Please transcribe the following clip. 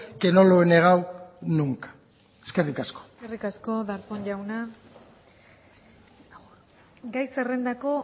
que no lo he negado nunca eskerrik asko eskerrik asko darpón jauna gai zerrendako